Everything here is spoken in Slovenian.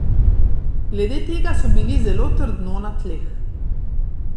Glede tega so bili zelo trdno na tleh.